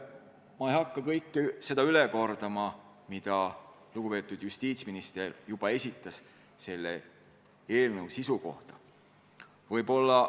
Ma ei hakka üle kordama kõike, mis lugupeetud justiitsminister eelnõu sisust juba rääkis.